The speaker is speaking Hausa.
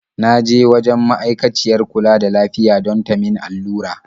Na je wajen ma'aikaciyar kula da lafiya don ta min allura.